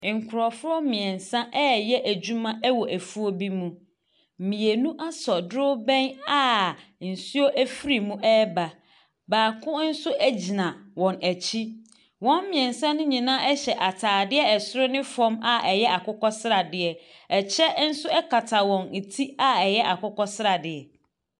Nkurɔfoɔ mmeɛnsa reyɛ adwuma wɔ afuo bi mu. Mmienu asɔ dorobɛn a nsuo firi mu reba. Baako nso gyina wɔn akyi. Wɔn mmeɛnsa no hyinaa hyɛ atadeɛ soro ne fam a ɛyɛ akokɔsradeɛ. Ɛkya nso kata wɔn ti a ɛyɛ akokɔsradeɛ.